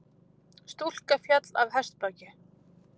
Stúlka féll af hestbaki